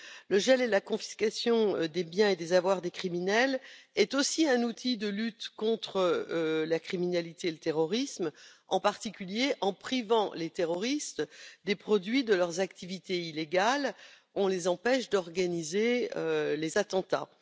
Le gel et la confiscation des biens et des avoirs des criminels constituent aussi un outil de lutte contre la criminalité et le terrorisme, en particulier du fait qu'en privant les terroristes des produits de leurs activités illégales, on les empêche d'organiser des attentats.